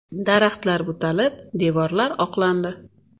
Daraxtlar butalib, devorlar oqlandi.